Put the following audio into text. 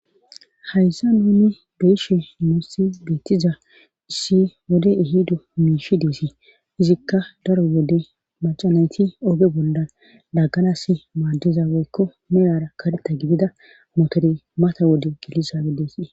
Haysan nuni be7ishe nussi beettiza issi wode ehido miishshi deesi;izikka daro wode macca nayti oge bolla laagganaassi maaddiza woykko miyara karetta gidida motore mata wode geliza gidesi.